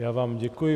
Já vám děkuji.